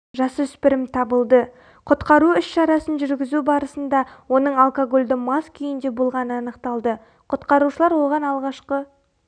жасөспірім табылды құтқару іс-шарасын жүргізу барысында оның алкогольді мас күйінде болғаны анықталды құтқарушылар оған алғашқы